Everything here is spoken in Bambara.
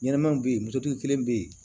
Ɲɛnɛmaw be yen kelen be yen